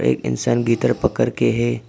एक इंसान कर के हैं।